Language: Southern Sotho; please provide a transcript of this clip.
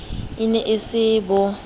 e ne e se bo